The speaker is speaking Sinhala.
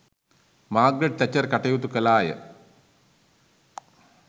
මාග්‍රට් තැචර් කටයුතු කළාය.